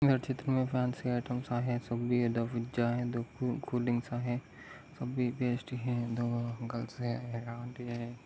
ह्या चित्रामध्ये fancy item आहे कोल्ड्रिंक्स आहे सबी बेस्ट हे दो गर्ल्स है एक आंटी है।